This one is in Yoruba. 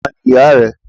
Tani ìyá rẹ.